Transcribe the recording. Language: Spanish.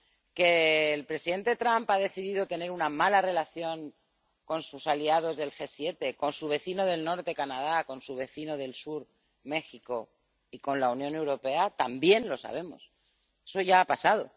que el presidente Trump ha decidido tener una mala relación con sus aliados del G 7, con su vecino del norte, Canadá, con su vecino del sur, México, y con la Unión Europea también lo sabemos, eso ya ha pasado